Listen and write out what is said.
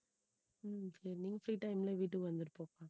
உம் சரி நீங்க free time ல வீட்டுக்கு வந்துட்டு போங்க